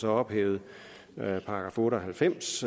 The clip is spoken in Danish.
ophævet § otte og halvfems